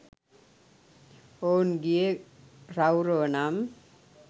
ඔවුන් ගියේ රෞරව නම්